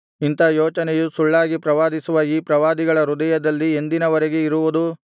ಇಂಥಾ ಯೋಚನೆಯು ಸುಳ್ಳಾಗಿ ಪ್ರವಾದಿಸುವ ಈ ಪ್ರವಾದಿಗಳ ಹೃದಯದಲ್ಲಿ ಎಂದಿನವರೆಗೆ ಇರುವುದು